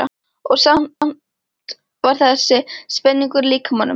Og samt samt var þessi spenningur í líkamanum.